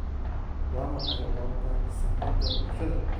waa maxay wararka saamiyada bulshada